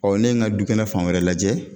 ne ye ŋa dukɛnɛ fan wɛrɛ lajɛ